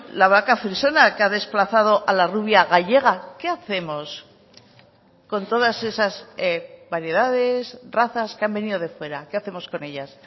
la vaca frisona que ha desplazado a la rubia gallega qué hacemos con todas esas variedades razas que han venido de fuera qué hacemos con ellas